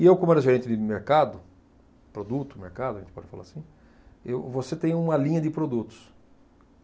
E eu, como era gerente de mercado, produto, mercado, a gente pode falar assim, eu, você tem uma linha de produtos.